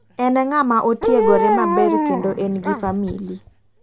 En ng'ama otiegore maber kendo en gi famili.